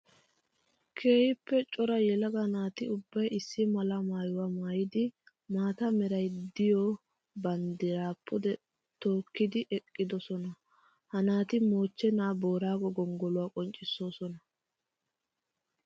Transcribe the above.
Keehippe cora yelaga naati ubbay issi mala maayuwa maayiddi maata meray de'iyo banddira pude tookkiddi eqqiddosonna. Ha naati mochenna boorago gonggoluwa qonccisosonna.